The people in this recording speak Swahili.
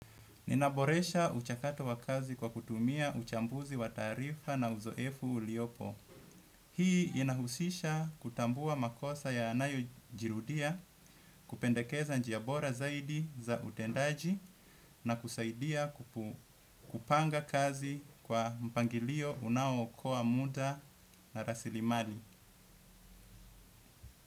Ninaboresha mchakato wa kazi kwa kutumia uchambuzi wa tarifa na uzoefu uliopo. Hii inahusisha kutambua makosa yaanayojirudia kupendekeza njiya bora zaidi za utendaji na kusaidia kupanga kazi kwa mpangilio unao okoa muda na rasilimali.